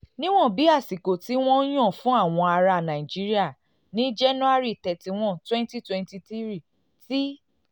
níwọ̀n bí àsìkò tí wọ́n ti yàn fún àwọn ará nàìjíríà ní january thirty one twenty twenty three ti